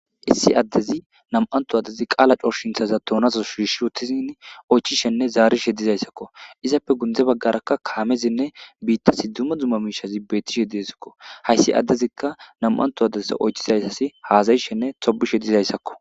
Issi addezi nam7antu addezi qaala coshinthaza toonaso shiishshi utizin oychishenne zaarishe dizayssakko izappe gundze baggarakka kaamezinne biitta sidduma dzuma miishazi beettishe diesakko hayssi addezikka nam7anto addezsa oychizayssasi haazayishenne tobishe dizayssakko.